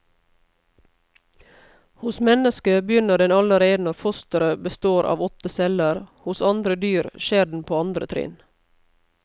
Hos mennesket begynner den allerede når fosteret består av åtte celler, hos andre dyr skjer den på andre trinn.